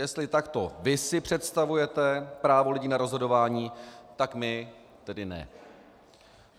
Jestli takto vy si představujete právo lidí na rozhodování, tak my tedy ne.